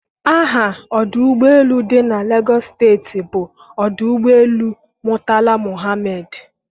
aha ọdụ ụgbọ elu dị na Legos steeti bụ ọdụ ụgbọ elu Murtala Muhammed.